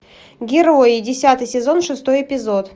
герои десятый сезон шестой эпизод